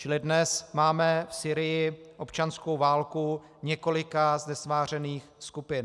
Čili dnes máme v Sýrii občanskou válku několika znesvářených skupin.